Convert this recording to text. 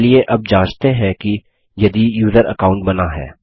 चलिए अब जाँचते हैं कि यदि यूज़र अकाउंट बना है